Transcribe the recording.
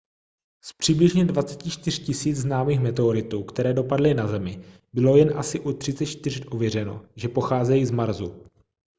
z přibližně 24 000 známých meteoritů které dopadly na zemi bylo jen asi u 34 ověřeno že pocházejí z marsu